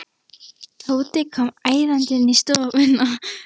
Tóti kom æðandi inn í stofuna.